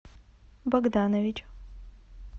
богданович